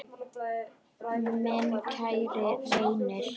Minn kæri Reynir.